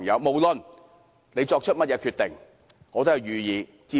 不論他們作出甚麼決定，我都支持。